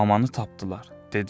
Mamanı tapdılar, dedilər.